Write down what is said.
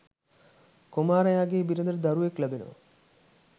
කුමාරයාගේ බිරිඳට දරුවෙක් ලැබෙනවා.